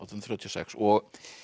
þrjátíu og sex og